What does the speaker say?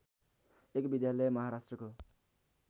एक विद्यालय महाराष्‍ट्रको